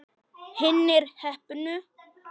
Hinir heppnu?